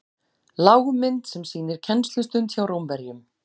Lágmynd sem sýnir kennslustund hjá Rómverjum.